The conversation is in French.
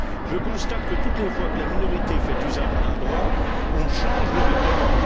Je constate que, toutes les fois que la minorité fait usage d'un droit, on change le règlement.